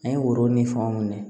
An ye woro ni fɛnw minɛ